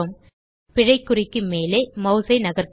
பிழை குறிக்கு மேல் மாஸ் ஐ நகர்த்துவோம்